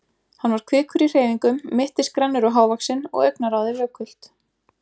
Hann var kvikur í hreyfingum, mittisgrannur og hávaxinn og augnaráðið vökult.